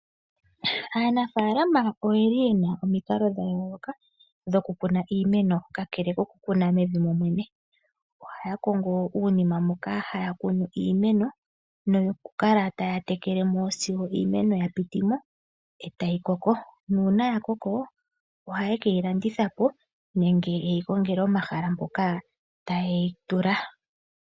Aanafaalama oyeli yena omikalo dha yooloka dhoku kuna iimeno ka kele koku kuna mevi momwene. Ohaya kongo uunima moka haya kunu iimeno, noku kala taya tekele mo sigo iimeno ya pitimo etayi koko. Nuuna ya koko ohaye keyi landitha po nenge yeyi kongele omahala mpoka taye yi tula.